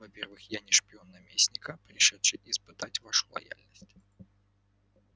во-первых я не шпион наместника пришедший испытать вашу лояльность